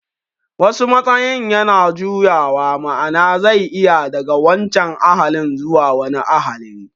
Wasu matsayin yana juyawa, ma'ana zai iya daga wancan ahalin zuwa wani ahali